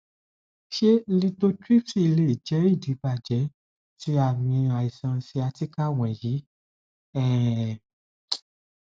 ṣe lithotripsy lè jẹ idibàjẹ ti aami aiṣan sciatica wọnyi um